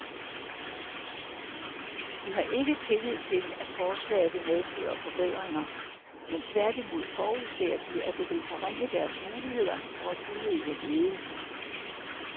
De har ikke tillid til, at forslaget vil medføre forbedringer, men tværtimod forudser de, at det vil forringe deres muligheder for at udøve ledelse.